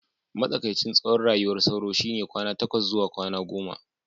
matsakaicin tsawon rayuwar sauro shine kwana takwas zuwa goma